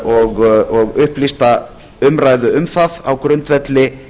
og upplýsta umræðu um það á grundvelli